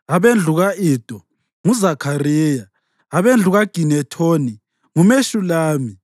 abendlu ka-Ido, nguZakhariya; abendlu kaGinethoni, nguMeshulami;